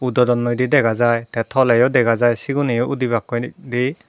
uudo donnoi degajai teh toleh degajai siguneyo uudebak koide.